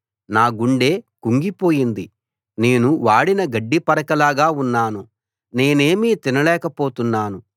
నా గుండె కుంగిపోయింది నేను వాడిన గడ్డి పరకలాగా ఉన్నాను నేనేమీ తినలేక పోతున్నాను